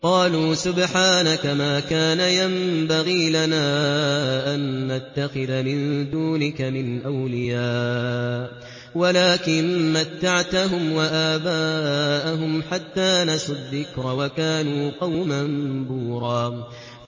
قَالُوا سُبْحَانَكَ مَا كَانَ يَنبَغِي لَنَا أَن نَّتَّخِذَ مِن دُونِكَ مِنْ أَوْلِيَاءَ وَلَٰكِن مَّتَّعْتَهُمْ وَآبَاءَهُمْ حَتَّىٰ نَسُوا الذِّكْرَ وَكَانُوا قَوْمًا بُورًا